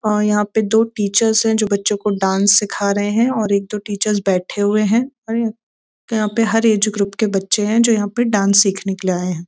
और यहाँ पे दो टीचर्स हैं जो बच्चों को डांस सिखा रहे हैं और एक दो टीचर्स बैठे हुए हैं और यहाँ पे हर एज ग्रुप के बच्चे है जो यहाँ पे डांस सीखने के लिए आए हैं।